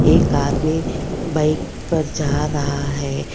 एक आदमी बाइक पर जा रहा है।